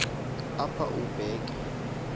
apha ube ke